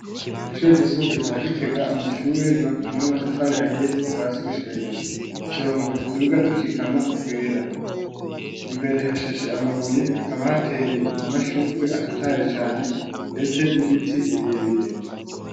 Kw'ishuri ry'isumbuye rya Gitega amashure ry'ubakishijwe amatafari ahiye kuva hasi gushika hejuru uturongo tuduga dukikama twera imbere hashashe amabuye hakaba hateye amashurwe atotahaye cane mbese nibiti birebire.